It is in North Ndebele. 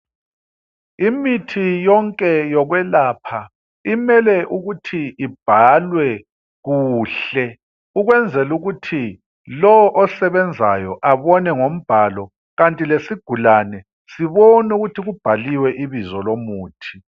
Imithi yonke yokwelapha imele ukuthi ibhalwe kuhle ukwenzelukuthi lowo osebenzayo abone ngombhalo kanti lesigulane sibone ukuthi kubhaliwe ibizo lomuthi.